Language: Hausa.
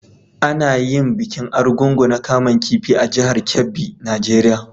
Ana yin bikin Argungu na kaman kifi a jihar Kebbi, Nigeria.